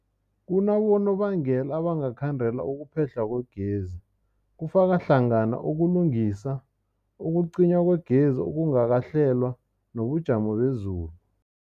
Kunabonobangela abangakhandela ukuphehlwa kwegezi, kufaka hlangana ukulungisa, ukucinywa kwegezi okungakahlelwa, nobujamo bezulu.